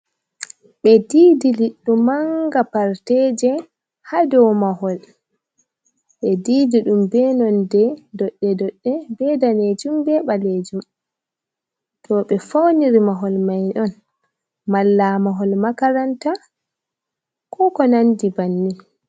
Ɓe didi liɗɗo manga parteje ha do mahol, ɓe didi ɗum be nonɗe dodɗe - dodɗe be danejum be ɓalejum, ɓe fauniri mahol mai on malla mahol makaranta ko ko nandi bannin.